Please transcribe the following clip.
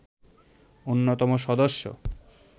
অন্যতম সদস্য